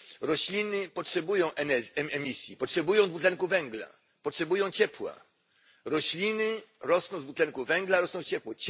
Rośliny potrzebują emisji, potrzebują dwutlenku węgla, potrzebują ciepła. Rośliny rosną z dwutlenku węgla, rosną z ciepła.